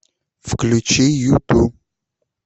включи юту